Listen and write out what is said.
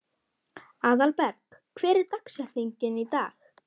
Aðalberg, hver er dagsetningin í dag?